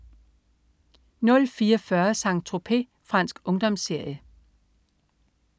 04.40 Saint-Tropez. Fransk ungdomsserie